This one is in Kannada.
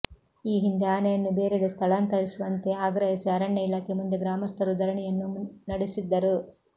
ಈ ಹಿಂದೆ ಆನೆಯನ್ನು ಬೇರೆಡೆ ಸ್ಥಳಾಂತರಿಸುವಂತೆ ಆಗ್ರಹಿಸಿ ಅರಣ್ಯ ಇಲಾಖೆ ಮುಂದೆ ಗ್ರಾಮಸ್ಥರು ಧರಣಿಯನ್ನೂ ನಡೆಸಿದ್ದರು